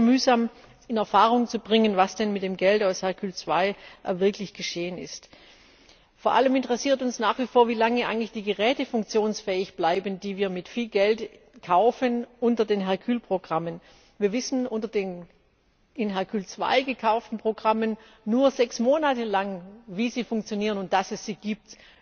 Es war sehr mühsam, in Erfahrung zu bringen, was denn mit dem Geld aus Hercule II wirklich geschehen ist. Vor allem interessiert uns nach wie vor, wie lange eigentlich die Geräte funktionsfähig bleiben, die wir unter den Hercule Programmen mit viel Geld kaufen. Wir wissen unter den in Hercule II gekauften Programmen nur sechs Monate lang, wie die Geräte funktionieren und dass es sie gibt.